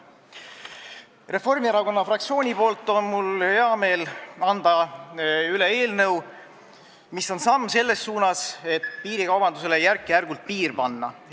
Reformierakonna fraktsiooni nimel on mul hea meel anda üle eelnõu, mis on samm selles suunas, et piirikaubandusele järk-järgult piir panna.